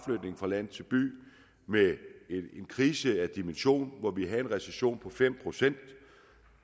land til by med en krise af dimensioner hvor vi har haft en recession på fem procent